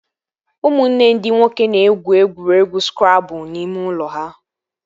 Ụmụnne ndị nwoke na-egwu egwuregwu skrabụl n'ime ụlọ ha